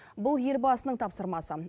бұл елбасының тапсырмасы